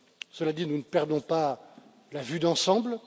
Cela dit, nous ne perdons pas la vue d'ensemble.